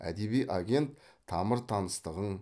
әдеби агент тамыр таныстығың